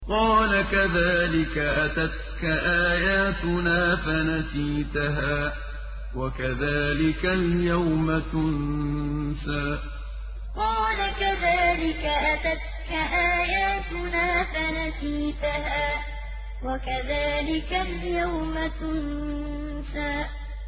قَالَ كَذَٰلِكَ أَتَتْكَ آيَاتُنَا فَنَسِيتَهَا ۖ وَكَذَٰلِكَ الْيَوْمَ تُنسَىٰ قَالَ كَذَٰلِكَ أَتَتْكَ آيَاتُنَا فَنَسِيتَهَا ۖ وَكَذَٰلِكَ الْيَوْمَ تُنسَىٰ